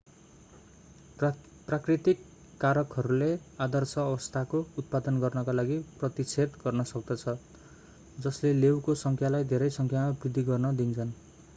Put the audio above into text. प्राकृतिक कारकहरूले आदर्श अवस्थाको उत्पादन गर्नका लागि प्रतिच्छेद गर्न सक्दछन् जसले लेउको संख्यालाई धेरै संख्यामा वृद्धि गर्न दिन्छन्